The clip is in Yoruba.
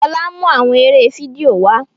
Fola n mú awọn eré fídíò wá